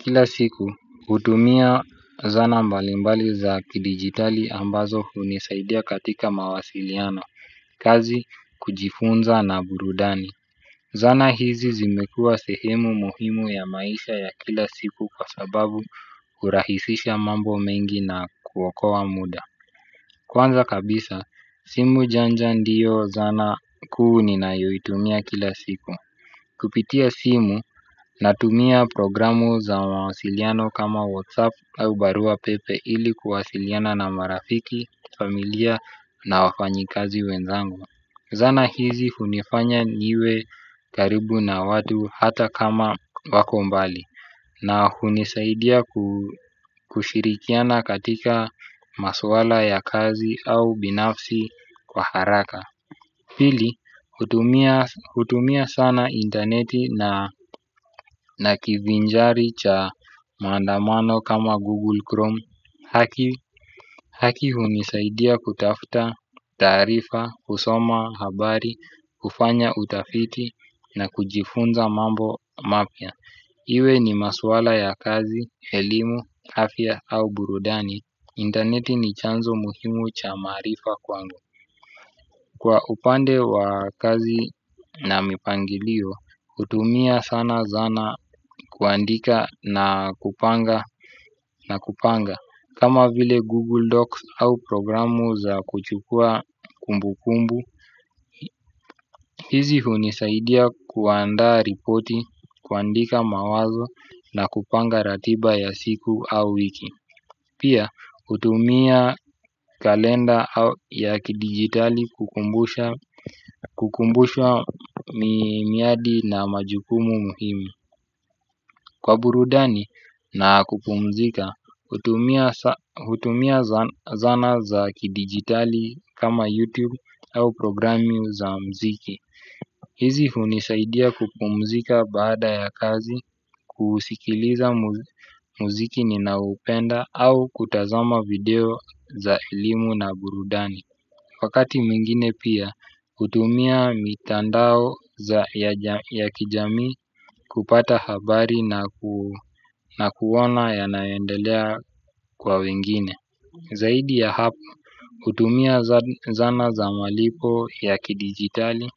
Kila siku, hutumia zana mbalimbali za kidigitali ambazo hunisaidia katika mawasiliano, kazi, kujifunza na burudani. Zana hizi zimekua sehemu muhimu ya maisha ya kila siku kwa sababu hurahisisha mambo mengi na kuokoa muda. Kwanza kabisa, simu janja ndio zana kuu ninayoitumia kila siku. Kupitia simu natumia programu za mawasiliano kama Whatsapp au barua pepe ili kuwasiliana na marafiki, familia na wafanyikazi wenzangu. Zana hizi hunifanya niwe karibu na watu hata kama wako mbali na hunisaidia kushirikiana katika maswala ya kazi au binafsi kwa haraka pili hutumia, hutumia sana interneti na kivinjari cha mandamano kama Google Chrome. Haki hunisaidia kutafta taarifa, husoma, habari, hufanya utafiti na kujifunza mambo mapya. Iwe ni maswala ya kazi, elimu, afya au burudani. Intaneti ni chanzo muhimu cha maarifa kwangu. Kwa upande wa kazi na mipangilio, hutumia sana zana kuandika na kupanga na kupanga kama vile Google Docs au programu za kuchukua kumbu kumbu. Hizi hunisaidia kuandaa ripoti, kuandika mawazo na kupanga ratiba ya siku au wiki. Pia, hutumia kalenda ya kidigitali kukumbusha miradi na majukumu muhimu. Kwa burudani na kupumzika, hutumia zana za kidigitali kama YouTube au programu za mziki. Hizi hunisaidia kupumzika baada ya kazi kusikiliza muziki ninaoupenda au kutazama video za elimu na burudani. Wakati mwingine pia hutumia mitandao ya kijamii kupata habari na kuona yanayoendelea kwa wengine. Zaidi ya hapo hutumia zana za malipo ya kidigitali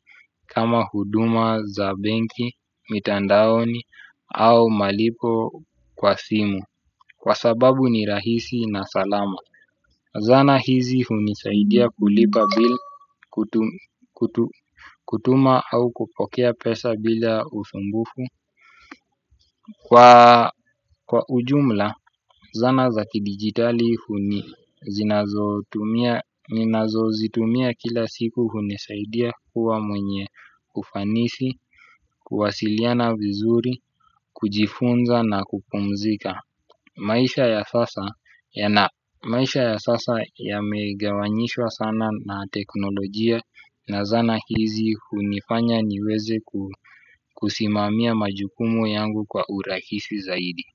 kama huduma za benki, mitandaoni au malipo kwa simu. Kwa sababu ni rahisi na salama. Zana hizi hunisaidia kulipa bill kutuma au kupokea pesa bila usumbufu. Kwa ujumla, zana za kidigitali huni zinazo tumia ninazozitumia kila siku hunisaidia kuwa mwenye ufanisi, kuwasiliana vizuri, kujifunza na kupumzika. Maisha ya sasa yamegawanyishwa sana na teknolojia na zana hizi hunifanya niweze kusimamia majukumu yangu kwa urahisi zaidi.